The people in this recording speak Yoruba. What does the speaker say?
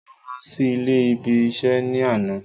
Mo lọ sí ilé ibi isẹ́ ní àná